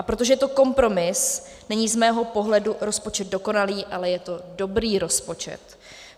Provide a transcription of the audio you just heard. A protože je to kompromis není z mého pohledu rozpočet dokonalý, ale je to dobrý rozpočet.